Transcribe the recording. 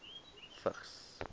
vigs